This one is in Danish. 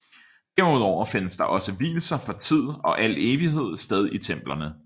Derudover findes der også vielser for tid og al evighed sted i templerne